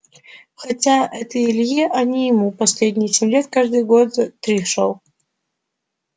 хотя это илье а не ему последние семь лет каждый год за три шёл